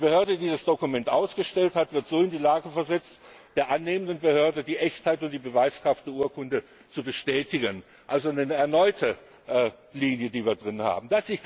Die Behörde, die das Dokument ausgestellt hat, wird so in die Lage versetzt, der annehmenden Behörde die Echtheit und die Beweiskraft der Urkunde zu bestätigen also eine neue Linie, die wir drin haben.